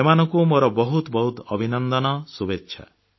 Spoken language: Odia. ଏମାନଙ୍କୁ ମୋର ବହୁତ ବହୁତ ଅଭିନନ୍ଦନ ଶୁଭେଚ୍ଛା